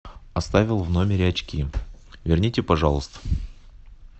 оставил в номере очки верните пожалуйста